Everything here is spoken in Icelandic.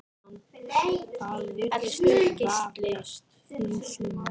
Það virðist vefjast fyrir sumum.